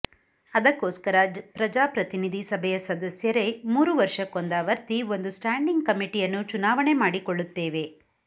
ಅದಕ್ಕೋಸ್ಕರ ಪ್ರಜಾಪ್ರತಿನಿಧಿ ಸಭೆಯ ಸದಸ್ಯರೇ ಮೂರು ವರ್ಷಕೊಂದಾವರ್ತಿ ಒಂದು ಸ್ಟ್ಯಾಂಡಿಂಗ್ ಕಮಿಟಿಯನ್ನು ಚುನಾವಣೆ ಮಾಡಿಕೊಳ್ಳುತ್ತೇವೆ